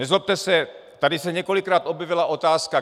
Nezlobte se, tady se několikrát objevila otázka.